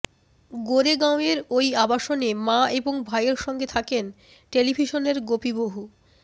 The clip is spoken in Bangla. গোরেগাঁওয়ের ওই আবাসনে মা এবং ভাইয়ের সঙ্গে থাকেন টেলিভিশনের গোপি বহু